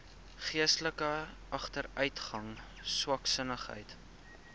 geestelike agteruitgang swaksinnigheid